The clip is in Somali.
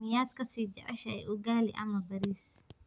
Miyaad ka sii jeceshahay ugali ama bariis?